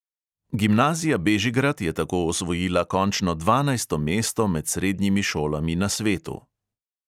Gimnazija bežigrad je tako osvojila končno dvanajsto mesto med srednjimi šolami na svetu.